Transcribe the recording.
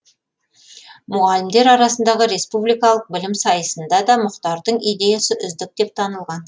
мұғалімдер арасындағы республикалық білім сайысында да мұхтардың идеясы үздік деп танылған